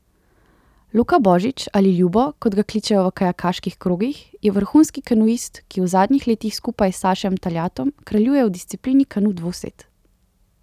Luka Božič ali Ljubo, kot ga kličejo v kajakaških krogih, je vrhunski kanuist, ki v zadnjih letih skupaj s Sašem Taljatom kraljuje v disciplini kanu dvosed.